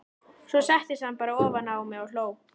Svo settist hann bara ofan á mig og hló.